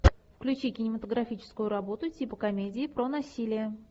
включи кинематографическую работу типа комедии про насилие